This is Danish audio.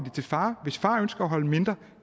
til far og hvis far ønsker at holde mindre